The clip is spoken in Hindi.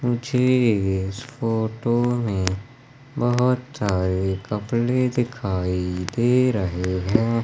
मुझे इस फोटो में बहुत सारे कपड़े दिखाई दे रहे हैं।